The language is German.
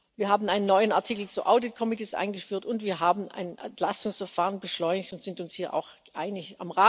Wir haben einen neuen Artikel zu Audit Ausschüssen eingeführt, und wir haben ein Entlastungsverfahren beschleunigt und sind uns hier auch einig.